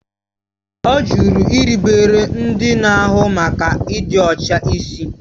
Ọ jụrụ irubere ndị na-ahụ maka ịdị ọcha ịsị